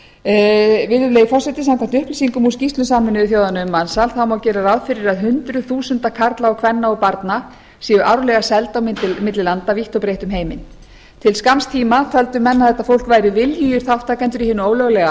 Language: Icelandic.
samningurinn virðulegi forseti samkvæmt upplýsingum úr skýrslum sameinuðu þjóðanna um mansal má gera ráð fyrir að hundruð þúsunda karla og kvenna og barna séu árlega seld á milli landa vítt og breitt um heiminn til skamms tíma töldu menn að þetta fólk væri viljugir þátttakendur í hinu ólöglega